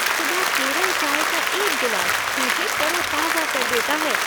सुबह केरल चाय का एक गिलास मुझे तरोताजा कर देता है।